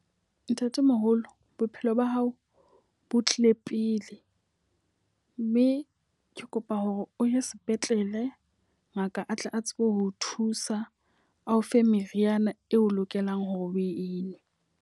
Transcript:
Ntatemoholo, bophelo ba hao bo tlile pele. Mme ke kopa hore o ye sepetlele ngaka a tle a tsebe ho thusa. Ao fe meriana eo lokelang hore o e nwe.